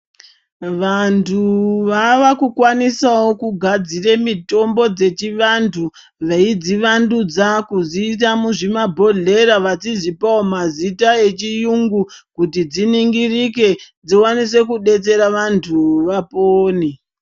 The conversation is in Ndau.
Vantu vava kukwanisawo kugadzire mitombo dzechi vantu veidzi wandudza kudziisa muzvima bhodhlera vechidzipawo mazita echi yungu kuti dziningirike dzikwanise kubetsera vantu vapone.